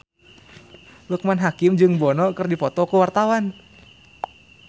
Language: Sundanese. Loekman Hakim jeung Bono keur dipoto ku wartawan